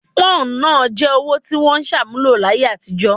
Pọ́ùn náà jẹ́ owó tí wọ́n ṣàmúlò láyé àtijọ́